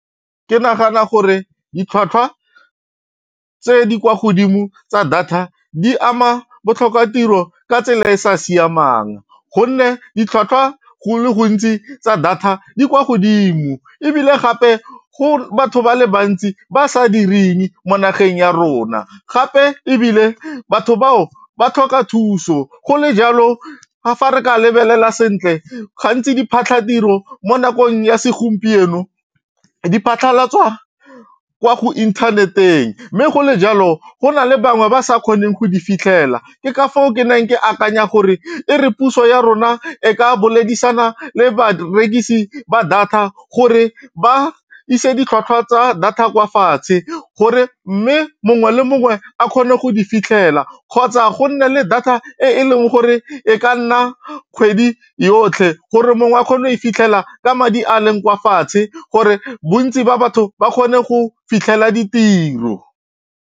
Ke nagana gore ditlhwatlhwa tse di kwa godimo tsa data di ama botlhokatiro ka tsela e e sa siamang gonne ditlhwatlhwa go le gontsi tsa data di kwa godimo ebile gape go batho ba le bantsi ba sa direng mo nageng ya rona gape ebile batho bao ba tlhoka thuso go le jalo fa re ka lebelela sentle gantsi diphatlhatiro mo nakong ya segompieno di phatlhalatswa kwa go inthaneteng mme go le jalo go na le bangwe ba sa kgoneng go di fitlhela ke ka fao ke neng ke akanya gore e re puso ya rona e ka boledisana le barekisi ba data gore ba ise ditlhwatlhwa tsa data kwa fatshe gore mme mongwe le mongwe a kgone go di fitlhela kgotsa go nne le data e e leng gore e ka nna kgwedi yotlhe gore mongwe a kgone ifitlhela ka madi a leng kwa fatshe gore bontsi ba batho ba kgone go fitlhela ditiro.